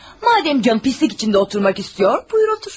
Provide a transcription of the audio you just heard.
Madam canın çirkab içində oturmaq istəyir, buyur otur.